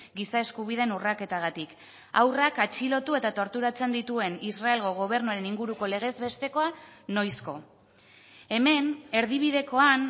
giza eskubideen urraketagatik haurrak atxilotu eta torturatzen dituen israelgo gobernuaren inguruko legezbestekoa noizko hemen erdibidekoan